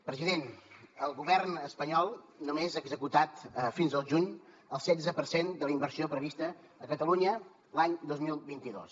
president el govern espanyol només ha executat fins al juny el setze per cent de la inversió prevista a catalunya l’any dos mil vint dos